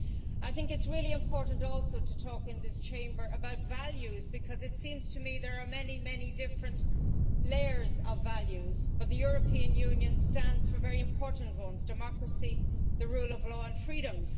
I think it is also really important to talk in this Chamber about values, because it seems to me that there are many, many different layers of values, but the European Union stands for very important ones democracy, the rule of law and freedoms.